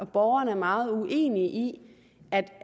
borgeren er meget uenig i